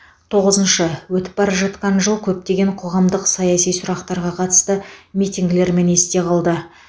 тоғызыншы өтіп бара жатқан жыл көптеген қоғамдық саяси сұрақтарға қатысты митингілерімен есте қалды